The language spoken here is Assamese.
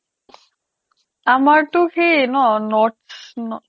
আমাৰটো কি ন north